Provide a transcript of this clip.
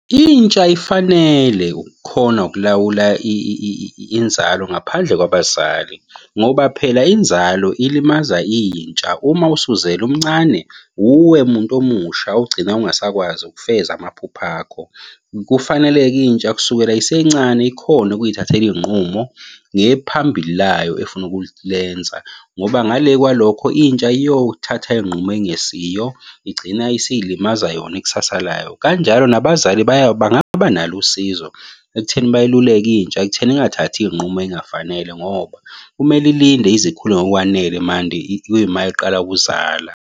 Intsha ifanele ukukhona ukulawula inzalo ngaphandle kwabazali, ngoba phela inzalo ilimaza intsha. Uma usuzele umncane, uwe muntu omusha ogcina ungasakwazi ukufeza amaphupho akho. Kufanele-ke intsha kusukela isencane ikhone ukuy'thathela iy'nqumo ngephambili layo efuna ukulenza, ngoba ngale kwalokho intsha iyothatha iy'nqumo engesiyo, igcina isiy'limaza yona ikusasa layo. Kanjalo nabazali bangaba nalo usizo ekutheni bayiluleke intsha, ekutheni ingathathi iy'nqumo ey'ngafanele ngoba kumele ilinde ize ikhule ngokwanele mande kuyima iqala ukuzala.